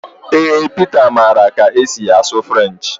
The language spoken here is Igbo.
Ee Pita maara ka esi asụ French